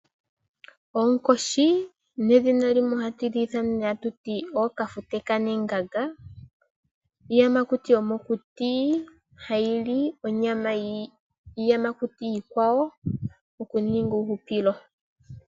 Onkoshi nedhina limwe otuli ithana atu ti ooKafute kAnenganga , iiyamakuti yomokuti hayi li onyama yiiyamakuti iikwawo okuninga uuhupilo.